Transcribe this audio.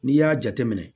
N'i y'a jateminɛ